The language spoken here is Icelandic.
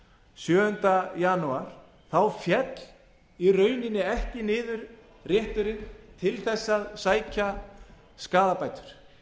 sjöunda janúar féll í rauninni ekki niður rétturinn til hans að sækja skaðabætur